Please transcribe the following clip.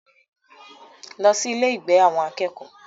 Lọ sí ilé-ìgbé àwọn akẹ́kọ̀ọ́!